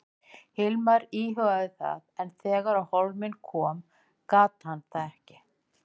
Hilmar íhugaði það en þegar á hólminn kom gat hann það ekki.